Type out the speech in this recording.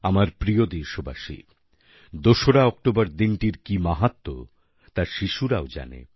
আমার প্রিয় দেশবাসী ২রা অক্টোবর দিনটির কী মাহাত্ম্য তা শিশুরাও জানে